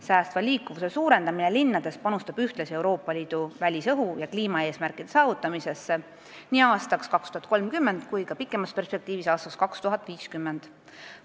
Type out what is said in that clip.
Säästva liikuvuse suurendamine linnades aitab ühtlasi kaasa Euroopa Liidu välisõhu kvaliteedi ja kliimaeesmärkide saavutamisele nii aastaks 2030 kui ka pikemas perspektiivis, aastaks 2050.